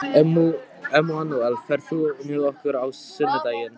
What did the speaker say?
Emanúel, ferð þú með okkur á sunnudaginn?